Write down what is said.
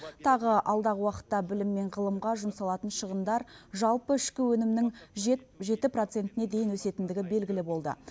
тағы алдағы уақытта білім мен ғылымға жұмсалатын шығындар жалпы ішкі өнімнің жеті процентіне дейін өсетіндігі белгілі болды